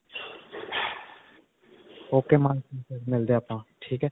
ok ਮਿਲਦੇ ਹਾਂ ਆਪਾਂ. ਠੀਕ ਹੈ.